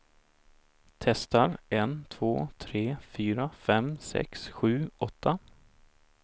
Testar en två tre fyra fem sex sju åtta.